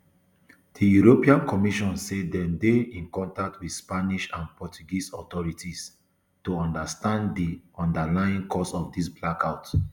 di european commission say dem dey in contact wit spanish and portuguese authorities to understand di underlying cause of today blackout